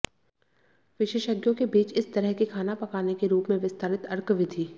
विशेषज्ञों के बीच इस तरह के खाना पकाने के रूप में विस्तारित अर्क विधि